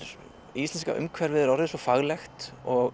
íslenska umhverfið er orðið svo faglegt og